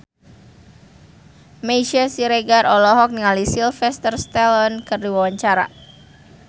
Meisya Siregar olohok ningali Sylvester Stallone keur diwawancara